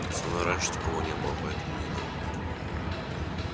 со мной раньше такого не было поэтому не знаю